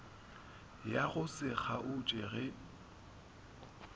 ya go se kgaotše ge